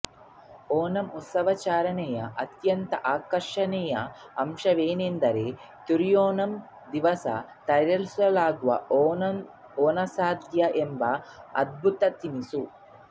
ಓಣಂ ಉತ್ಸವಾಚರಣೆಯ ಅತ್ಯಂತ ಆಕರ್ಷಣೀಯ ಅಂಶವೆಂದರೆ ತಿರುಓಣಂನ ದಿವಸ ತಯಾರಿಸಲಾಗುವ ಓಣಸಾದ್ಯ ಎಂಬ ಅದ್ಭುತ ತಿನಿಸು